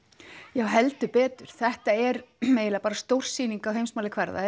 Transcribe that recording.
já heldur betur þetta er eiginlega bara stórsýning á heimsmælikvarða